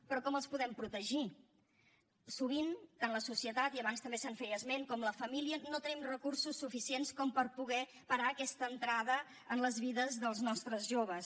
però com els podem protegir sovint tant la societat i abans també se’n feia esment com la família no tenim recursos suficients per poder parar aquesta entrada en les vides dels nostres joves